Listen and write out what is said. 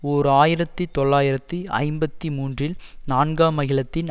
ஓர் ஆயிரத்தி தொள்ளாயிரத்தி ஐம்பத்தி மூன்றில் நான்காம் அகிலத்தின்